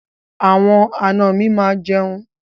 Àwọn àna mi máa jẹun.